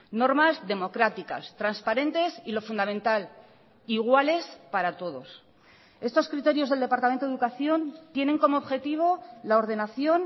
normas democráticas transparentes y lo fundamental iguales para todos estos criterios del departamento de educación tienen como objetivo la ordenación